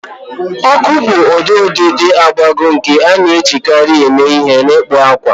Ọkụ bụ ụdị ọdịdị agbagọ nke a na-ejikarị eme ihe n'ịkpụ akwa